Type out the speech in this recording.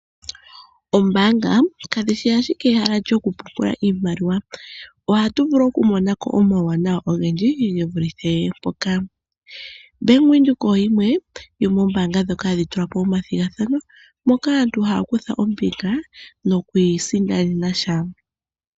Oombaanga kadhi shi owala ehala lyokupungula oshimaliwa ohatu vulu okumona ko omawanawa ogendji ge vulithe mpoka ,Bank Windhoek oyo yimwe yomoombaanga dhoka hadhi tula po omathigathano moka aantu haya kutha ombinga nokwiisindanena sha .